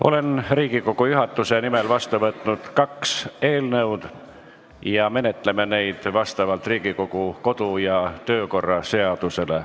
Olen Riigikogu juhatuse nimel vastu võtnud kaks eelnõu, menetleme neid vastavalt Riigikogu kodu- ja töökorra seadusele.